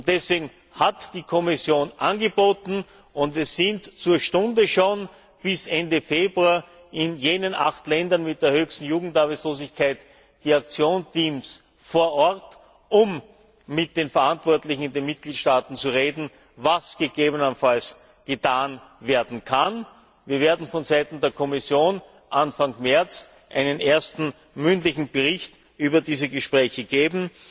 Deswegen hat die Kommission angeboten und es sind zur Stunde schon bis Ende Februar in jenen acht Ländern mit der höchsten Jugendarbeitslosigkeit die Aktionsteams vor Ort mit den Verantwortlichen in den Mitgliedstaaten zu reden, was gegebenenfalls getan werden kann. Wir werden von Seiten der Kommission Anfang März einen ersten mündlichen Bericht über diese Gespräche vorlegen.